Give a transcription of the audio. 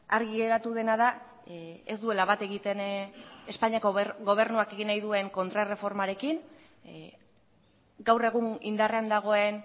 argi geratu dena da ez duela bat egiten espainiako gobernuak egin nahi duen kontrarreformarekin gaur egun indarrean dagoen